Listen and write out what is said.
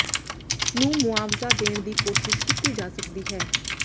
ਨੂੰ ਮੁਆਵਜ਼ਾ ਦੇਣ ਦੀ ਕੋਸ਼ਿਸ਼ ਕੀਤੀ ਜਾ ਸਕਦੀ ਹੈ